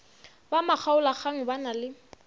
ba makgaolakgang ba na le